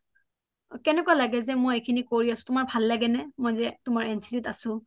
কেনেকুৱা লাগি যে মই এইখিনি কৰি আছোঁ তোমাৰ ভাল লাগে নে মই যে কৰি আছোঁ